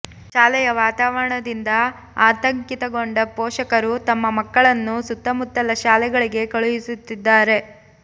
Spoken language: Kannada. ಶಾಲೆಯ ವಾತಾವರಣದಿಂದ ಆತಂಕಿತಗೊಂಡ ಪೋಷಕರು ತಮ್ಮ ಮಕ್ಕಳನ್ನು ಸುತ್ತಮುತ್ತಲ ಶಾಲೆಗಳಿಗೆ ಕಳಿಹಿಸುತ್ತಿದ್ದಾರೆ